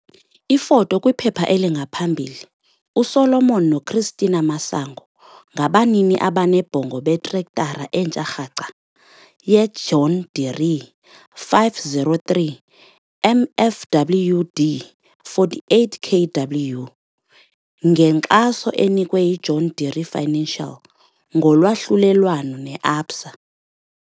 Ifoto kwiphepha elingaphambili- USolomon noChristina Masango, ngabanini abanebhongo betrektara entsha rhaca yeJohn Deere 5403 MFWD 48 kW, ngenkxaso enikwe yiJohn Deere Financial ngolwahlulelwano neABSA.